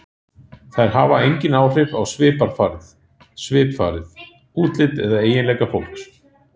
Þær hafa engin áhrif á svipfarið, útlit eða eiginleika fólks.